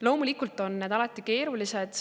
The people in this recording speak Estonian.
Loomulikult on see alati keeruline.